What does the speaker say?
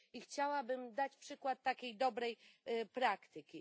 I chciałabym dać przykład takiej dobrej praktyki.